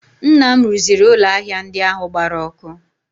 Nna m rụziri ụlọ ahịa ndị ahụ gbara ọkụ